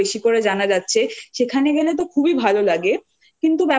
বেশি করে সেগুলো জানা যাচ্ছে সেখানে গেলে তো খুবই